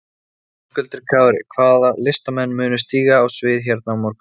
Höskuldur Kári: Hvaða listamenn munu stíga á svið hérna á morgun?